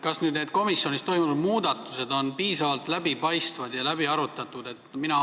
Kas komisjonis tehtud muudatused on ikka piisavalt läbipaistvad ja põhjalikult läbi arutatud?